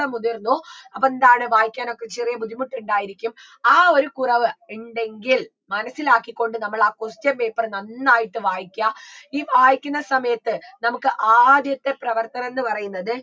മുതിർന്നു അപ്പൊ എന്താണ് വായിക്കാനൊക്കെ ചെറിയ ബുദ്ധിമുട്ടുണ്ടായിരിക്കും ആ ഒരു കുറവ് ഇണ്ടെങ്കിൽ മനസ്സിലാക്കിക്കൊണ്ട് നമ്മൾ ആ question paper നന്നായിട്ട് വായിക്കുക ഈ വായിക്കുന്ന സമയത്ത് നമുക്ക് ആദ്യത്തെ പ്രവർത്തനംന്ന് പറയുന്നത്